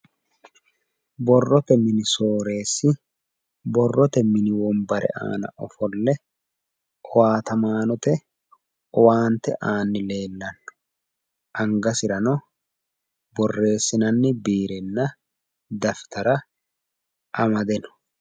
borrote mini soreessi borrote mini wombare aana ofolle owaatamaanote owaante aanni leellanni no angasirano borreesinanni biirenna daftara amade no